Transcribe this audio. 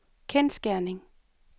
kendsgerning